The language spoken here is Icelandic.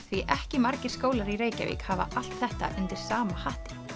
því ekki margir skólar í Reykjavík hafa allt þetta undir sama hatti